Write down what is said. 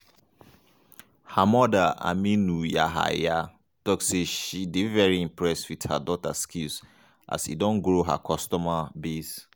her mother aminu yahaya tok say she dey very impressed wit her daughter skills as e don grow her customer base.